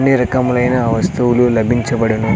అన్ని రకములైన వస్తువులు లభించబడును.